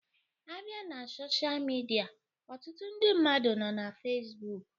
A bịa na sosha midia, ọtụtụ ndị mmadụ nọ na Fesbụụk